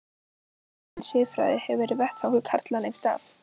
Fræðigreinin siðfræði hefur verið vettvangur karla lengst af.